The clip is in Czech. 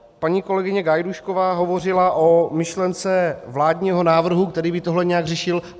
Paní kolegyně Gajdůšková hovořila o myšlence vládního návrhu, který by tohle nějak řešil.